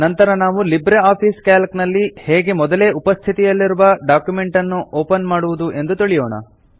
ನಂತರ ನಾವು LibreOffice Calc ನಲ್ಲಿ ಹೇಗೆ ಮೊದಲೇ ಉಪಸ್ಥಿತಿಯಲ್ಲಿರುವ ಡಾಕ್ಯುಮೆಂಟ್ ಅನ್ನು ಓಪನ್ ಮಾಡುವುದು ಎಂದು ತಿಳಿಯೋಣ